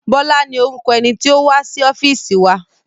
Bọ́lá ni orúkọ ẹni tí ó wá sí ọ́fíìsì wa.